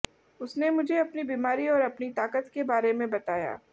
उसने मुझे अपनी बीमारी और अपनी ताकत के बारे में बताया